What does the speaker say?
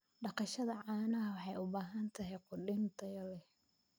Dhaqashada caanaha waxay u baahan tahay quudin tayo leh.